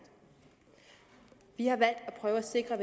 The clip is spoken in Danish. vi har valgt at prøve at sikre